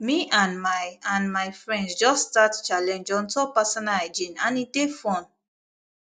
me and my and my friends just start challenge on top personal hygiene and e dey fun